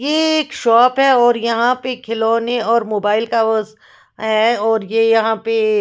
ये एक शॉप है और यहाँ पे खिलौने और मोबाइल का वो ज़ है और ये यहाँ पे ए ए--